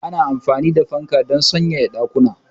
Ana amfani da fanka don sanyaya ɗakuna.